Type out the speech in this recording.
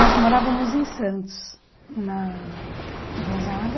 Nós morávamos em Santos, na no Gonzaga.